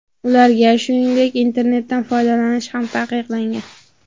Ularga, shuningdek, internetdan foydalanish ham taqiqlangan.